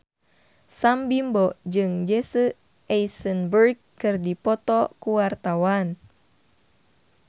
Sam Bimbo jeung Jesse Eisenberg keur dipoto ku wartawan